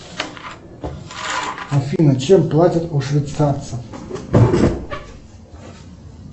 афина чем платят у швейцарцев